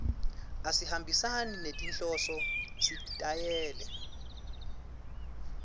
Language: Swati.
asihambisani nenhloso sitayela